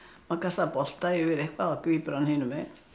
maður kastaði bolta yfir eitthvað og grípur hann hinum megin